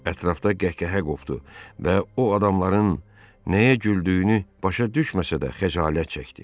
Ətrafda qəhqəhə qopdu və o adamların nəyə güldüyünü başa düşməsə də xəcalət çəkdi.